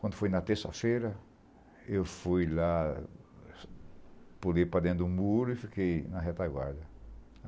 Quando foi na terça-feira, eu fui lá, pulei para dentro do muro e fiquei na retaguarda.